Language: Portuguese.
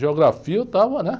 Geografia eu estava, né?